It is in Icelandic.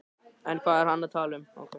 En hvað er hann að tala um?